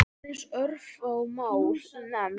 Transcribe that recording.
Aðeins örfá mál nefnd.